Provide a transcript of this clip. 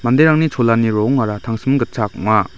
cholani rongara tangsim gitchak ong·a.